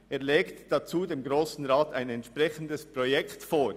Er legt dazu dem Grossen Rat ein entsprechendes Projekt vor.»